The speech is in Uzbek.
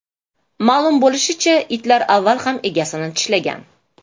Ma’lum bo‘lishicha, itlar avval ham egasini tishlagan.